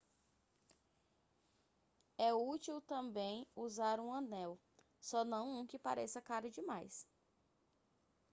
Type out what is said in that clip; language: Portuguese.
é últil também usar um anel só não um que pareça caro demais